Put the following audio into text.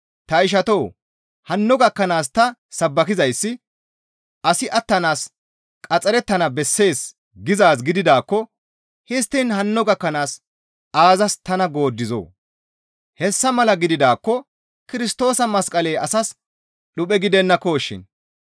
Ta ishatoo! Hanno gakkanaas ta sabbakizayssi asi attanaas qaxxarettana bessees gizaaz gididaakko histtiin hanno gakkanaas aazas tana gooddizoo? Hessa mala gididaakko Kirstoosa masqaley asas dhuphe gidennakoshin.